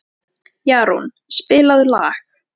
Jarún, spilaðu lag.